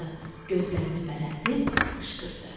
Gözlərini bərəldib qışqırdı.